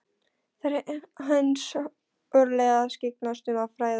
Það eru hans örlög að skyggnast um og fræðast.